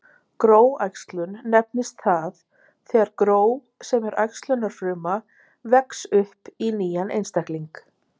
Gróæxlun nefnist það þegar gró sem er æxlunarfruma, vex upp í nýjan einstakling.